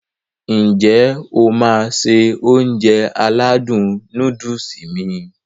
N jẹ́ o máá se Ounjẹ aládùn nóódùsì mi?